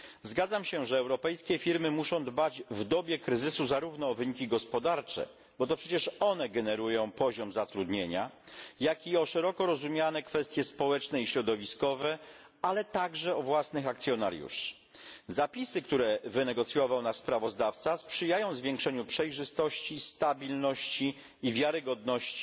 Zgadzam się, że europejskie firmy muszą dbać w dobie kryzysu zarówno o wyniki gospodarcze bo to przecież one generują poziom zatrudnienia jak i o szeroko rozumiane kwestie społeczne i środowiskowe, ale także o własnych akcjonariuszy. Zapisy, które wynegocjował nasz sprawozdawca, sprzyjają zwiększeniu przejrzystości, stabilności i wiarygodności